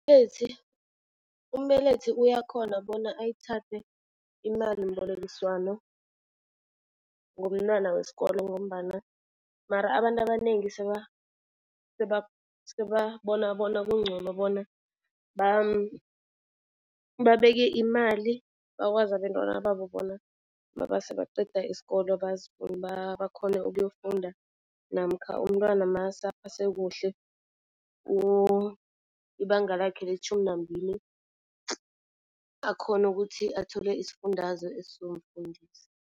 Umbelethi umbelethi uyakhona bona ayithathe imalimbolekiswano ngomntwana weskolo ngombana mara abantu abanengi sebabona bona kuncono bona babeke imali. Bakwazi abentwana babo bona masebaqeda isikolo bakhone ukuyofunda namkha umntwana masekaphase kuhle ibanga lakhe letjhumi nambili akhone ukuthi athole isifundazwe esizomfundisa.